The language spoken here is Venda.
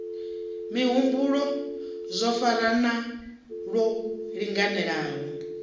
mihumbulo zwo farana lwo linganelaho